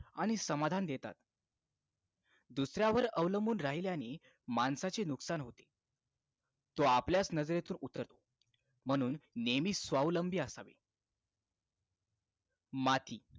आणि समाधान देतात दुसऱ्यावर अवलंबून राहिल्याने माणसाचे नुकसान होते तो आपल्याच नजरेतून उतरतो म्हणून नेहमी स्वावलंबी असावे माती